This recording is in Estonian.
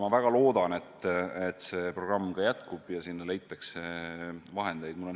Ma väga loodan, et see programm jätkub ja selleks leitakse vahendeid.